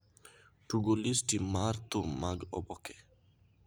tugo listi mar thum mag oboke